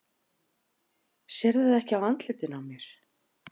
Sérðu það ekki á andlitinu á mér?